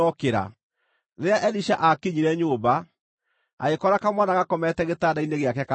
Rĩrĩa Elisha aakinyire nyũmba, agĩkora kamwana gakomete gĩtanda-inĩ gĩake karĩ gakuũ.